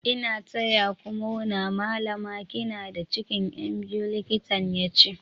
"N'na taya ku murna Mallama" kina da cikin Yan biyu, likitan ya ce.